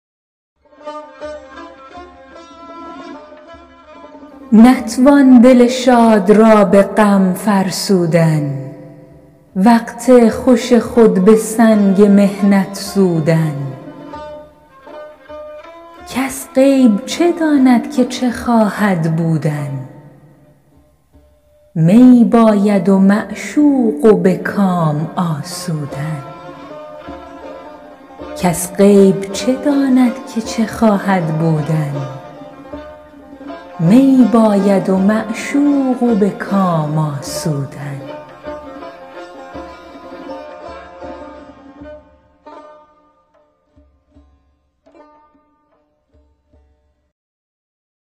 نتوان دل شاد را به غم فرسودن وقت خوش خود به سنگ محنت سودن کس غیب چه داند که چه خواهد بودن می باید و معشوق و به کام آسودن